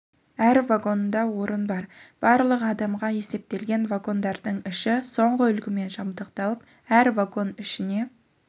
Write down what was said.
әр вагонында орын бар барлығы адамға есептелген вагондардың іші соңғы үлгімен жабдықталып әр вагон ішіне